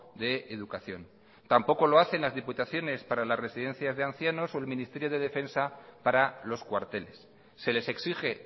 de educación tampoco lo hacen las diputaciones para las residencias de ancianos o el ministerio de defensa para los cuarteles se les exige